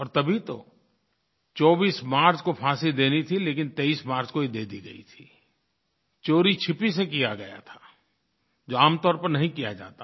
और तभी तो 24 मार्च को फांसी देनी थी लेकिन 23 मार्च को ही दे दी गयी थी चोरीछिपे से किया गया था जो आम तौर पर नहीं किया जाता